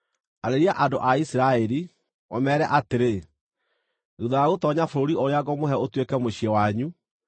“Arĩria andũ a Isiraeli, ũmeere atĩrĩ: ‘Thuutha wa gũtoonya bũrũri ũrĩa ngũmũhe ũtuĩke mũciĩ wanyu,